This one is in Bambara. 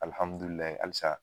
Alihamidulila halisa